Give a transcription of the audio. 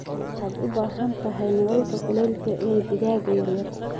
Waxaad u baahan tahay nalalka kulaylka ee digaagga yaryar.